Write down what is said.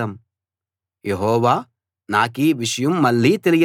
యెహోవా నాకీ విషయం మళ్ళీ తెలియచేశాడు